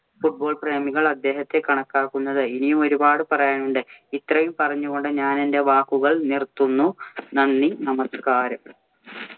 Football പ്രേമികള്‍ അദ്ദേഹത്തെ കണക്കാക്കുന്നത്. ഇനിയും ഒരു പാട് പറയാനുണ്ട്‌. ഇത്രയും പറഞ്ഞു കൊണ്ട് ഞാനെന്‍റെ വാക്കുകള്‍ നിര്‍ത്തുന്നു. നന്ദി, നമസ്കാരം.